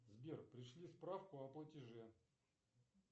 сбер пришли справку о платеже